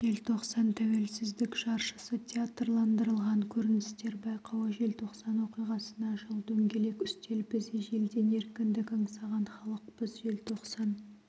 желтоқсан-тәуелсіздік жаршысы театрландырылған көріністер байқауы желтоқсан оқиғасына жыл дөңгелек үстел біз ежелден еркіндік аңсаған халықпыз желтоқсан